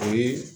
O ye